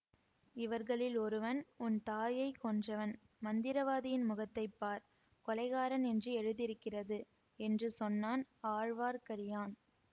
இவர்களில் ஒருவன் உன் தாயை கொன்றவன் மந்திரவாதியின் முகத்தை பார் கொலைக்காரன் என்று எழுதியிருக்கிறது என்று சொன்னான் ஆழ்வார்க்கடியான்